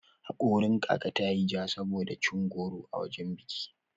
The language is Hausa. Haƙorin kaka ta yayi ja sosai saboda cin goro a wajan biki.